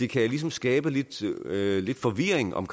kan skabe lidt lidt forvirring om